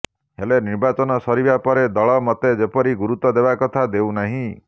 ହେଲେ ନିର୍ବାଚନ ସରିବା ପରେ ଦଳ ମୋତେ ଯେପରି ଗୁରୁତ୍ବ ଦେବା କଥା ଦେଉ ନାହିଁ